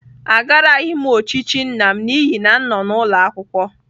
Agaraghị m ochichi nna m n'ihi na m nọ n'ụlọ akwụkwọ.